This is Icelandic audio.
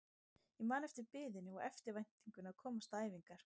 Ég man eftir biðinni og eftirvæntingunni að komast á æfingar.